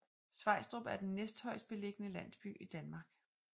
Svejstrup er den næsthøjestbelligende landsby i Danmark